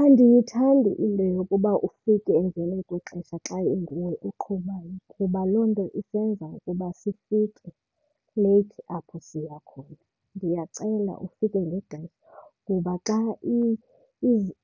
Andiyithandi into yokuba ufike emveni kwexesha xa inguwe oqhubayo kuba loo nto isenza ukuba sifike leyithi apho siya khona. Ndiyacela ufike ngexesha kuba xa